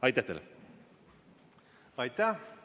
Aitäh!